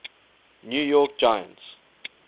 new york giants